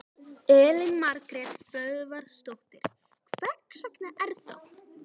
Elín Margrét Böðvarsdóttir: Hvers vegna er það?